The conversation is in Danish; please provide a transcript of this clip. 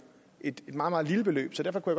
et meget meget lille beløb så derfor kunne